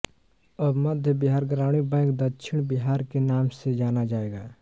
अब मध्य बिहार ग्रामीण बैंक दक्षिण बिहार के नाम से जाना जाएगा